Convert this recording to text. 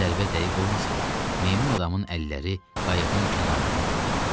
Zərbə dəqiq olmasa da, meymun adamın əlləri qayıqın kənarından qopdu.